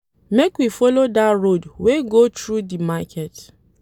Make we folo dat road wey dey go through di market.